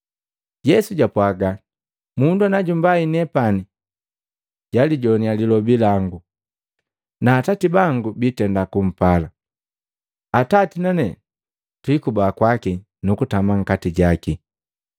Yesu jwapwaga, “Mundu na jumbai nepani jalijowaniya lilobi langu, na Atati bangu biitenda kumpala, Atati nane twiika kwaki nukutama nkati jaki.